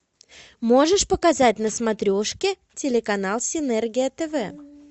можешь показать на смотрешке телеканал синергия тв